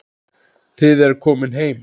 Þið eruð komin heim.